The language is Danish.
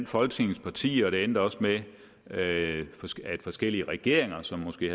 folketingets partier og det endte også med at at forskellige forskellige regeringer som måske